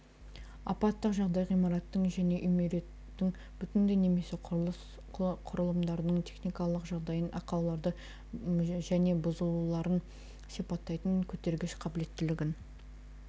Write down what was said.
апаттық жағдай ғимараттың және үймереттің бүтіндей немесе құрылыс құрылымдарының техникалық жағдайын ақауларын және бұзылуларын сипаттайтын көтергіш қабілеттілігін